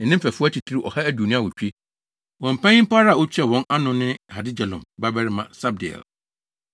ne ne mfɛfo atitiriw ɔha aduonu awotwe (128). Wɔn panyin pa ara a otua wɔn ano no ne Hagedolim babarima Sabdiel.